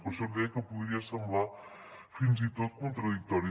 per això li deia que podia semblar fins i tot contradictori